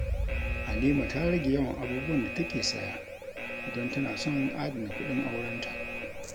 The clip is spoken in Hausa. Halima ta rage yawan abubuwan da take saya don tana son adana kuɗin aurenta.